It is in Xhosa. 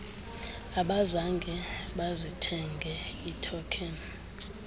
abazange bazithenge iithokheni